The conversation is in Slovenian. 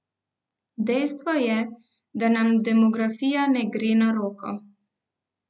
Dejstvo je, da nam demografija ne gre na roko.